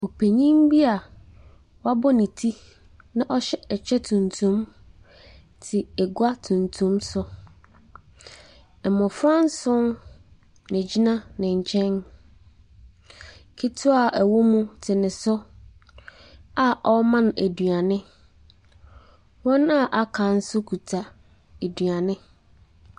Ɔpanin bi a wabɔ ne ti na ɔhyɛ ɛkyɛ tuntum te adwa tuntun so. Mmofra nson na wɔgyina ne nkyɛn. Ketewa a ɔwɔ mu no te ne so a ɔrema no aduane. Wɔn a wɔaka nso kita aduane.